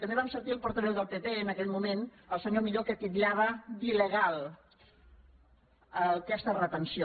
també vam sentir el portaveu del pp en aquell moment el senyor millo que titllava d’il·legal aquesta retenció